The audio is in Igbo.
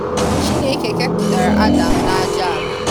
Chineke keputara Adam na aja ala.